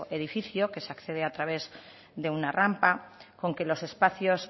edificio que se accede a través de una rampa con que los espacios